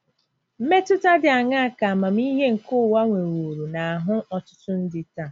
Mmetụta dị aṅaa ka amamihe nke ụwa nweworo n'ahụ́ ọtụtụ ndị taa?